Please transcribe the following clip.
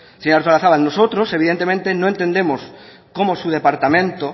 señora artolazabal nosotros evidentemente no entendemos cómo su departamento